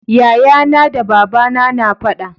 yaya na da babana na faɗa